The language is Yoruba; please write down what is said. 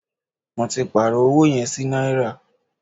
Mó tí pàárọ̀ ọwọ yẹn sí náírà.